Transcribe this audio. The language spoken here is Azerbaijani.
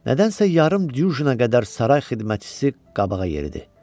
Nədənsə yarım cüjünə qədər saray xidmətçisi qabağa yeridi.